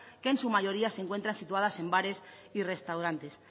que en su mayoría se encuentran situadas en bares y restaurantes